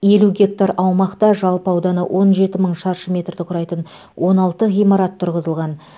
елу гектар аумақта жалпы ауданы он жеті мың шаршы метрді құрайтын он алты ғимарат тұрғызылған